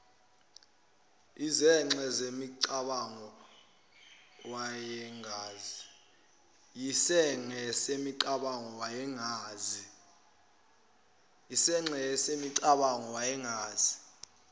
yisinxe semicabango wayengazi